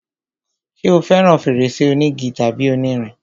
ṣé o fẹràn fèrèsé onígi tàbí onírin?